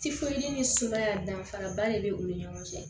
ni sumaya danfaraba de bɛ u ni ɲɔgɔn cɛ